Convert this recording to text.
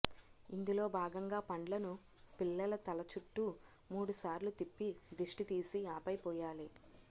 ఇందులో భాగంగా పండ్లను పిల్లల తల చుట్టూ మూడుసార్లు తిప్పి దిష్టి తీసి ఆపై పోయాలి